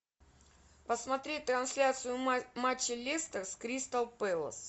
посмотреть трансляцию матча лестер с кристал пэлас